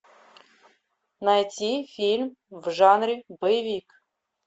найти фильм в жанре боевик